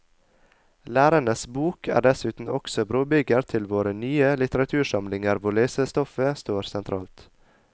Lærerens bok er dessuten også brobygger til våre nye litteratursamlinger hvor lesestoffet står sentralt.